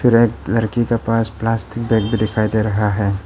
फिर एक लड़की के पास प्लास्टिक बैग भी दिखाई दे रहा है।